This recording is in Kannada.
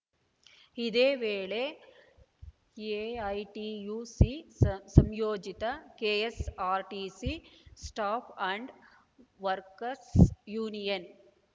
ಇದೇ ವೇಳೆ ಎಐಟಿಯುಸಿ ಸಂ ಸಂಯೋಜಿತ KSRTC staff and workers union